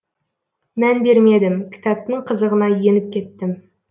мән бермедім кітаптың қызығына еніп кеттім